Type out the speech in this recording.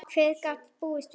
Hver gat búist við því?